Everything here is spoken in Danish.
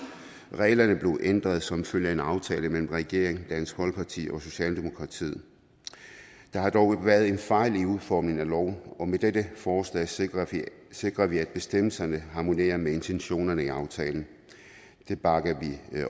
reglerne blev ændret som følge af en aftale mellem regeringen dansk folkeparti og socialdemokratiet der har dog været en fejl i udformningen af loven og med dette forslag sikrer sikrer vi at bestemmelserne harmonerer med intentionerne i aftalen det bakker